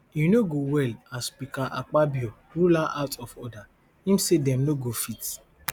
e no go well as speaker akpabio rule her out of order im say dem no go fit